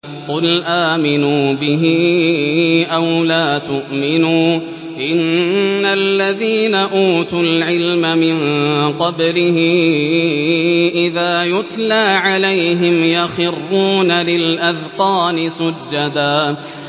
قُلْ آمِنُوا بِهِ أَوْ لَا تُؤْمِنُوا ۚ إِنَّ الَّذِينَ أُوتُوا الْعِلْمَ مِن قَبْلِهِ إِذَا يُتْلَىٰ عَلَيْهِمْ يَخِرُّونَ لِلْأَذْقَانِ سُجَّدًا